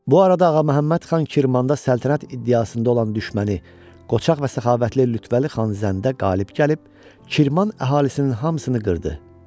Bu arada Ağaməhəmməd xan Kirmanda səltənət iddiasında olan düşməni Qoçaq və səxavətli Lütfəli xan Zəndə qalib gəlib, Kirman əhalisinin hamısını qırdı.